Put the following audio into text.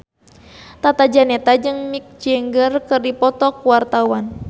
Tata Janeta jeung Mick Jagger keur dipoto ku wartawan